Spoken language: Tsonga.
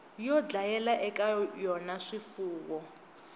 yo dlayela eka yona swifuwo